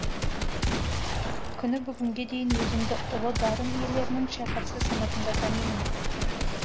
күні бүгінге дейін өзімді ұлы дарын иелерінің шәкірті санатында танимын